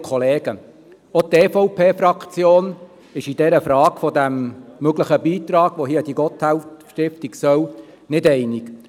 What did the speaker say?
Auch die EVP-Fraktion ist sich in der Frage eines möglichen Beitrags an die Gotthelf-Stiftung nicht einig.